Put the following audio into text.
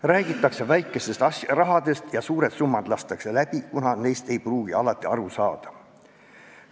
Räägitakse väikestest rahadest ja lastakse suured summad läbi, kuna neist ei pruugita alati aru saada.